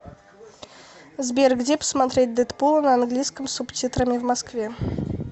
сбер где посмотреть дэдпула на английском с субтитрами в москве